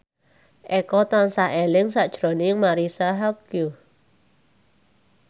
Eko tansah eling sakjroning Marisa Haque